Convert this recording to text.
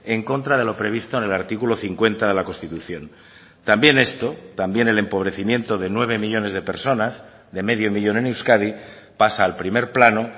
en contra de lo previsto en el artículo cincuenta de la constitución también esto también el empobrecimiento de nueve millónes de personas de medio millón en euskadi pasa al primer plano